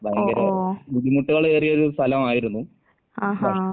ഓ ഓ. ആഹാ.